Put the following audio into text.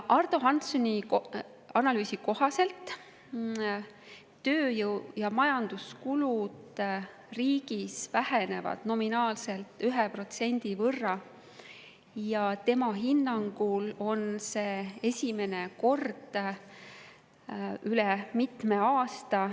Ardo Hanssoni analüüsi kohaselt vähenevad tööjõu‑ ja majanduskulud riigis nominaalselt 1% ja tema hinnangul on see esimene kord üle mitme aasta.